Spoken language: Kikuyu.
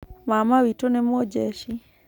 Mama witũ nĩ mũjeshi.